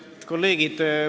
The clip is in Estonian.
Head kolleegid!